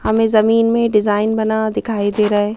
हमें जमीन में डिजाइन बना दिखाई दे रहा है।